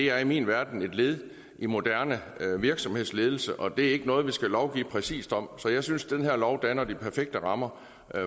er i min verden et led i moderne virksomhedsledelse og det er ikke noget vi skal lovgive præcist om så jeg synes at den her lov danner de perfekte rammer